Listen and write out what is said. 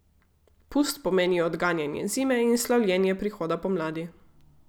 Pust pomeni odganjanje zime in slavljenje prihoda pomladi.